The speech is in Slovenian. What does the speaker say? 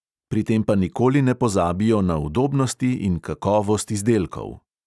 Pri tem pa nikoli ne pozabijo na udobnosti in kakovost izdelkov.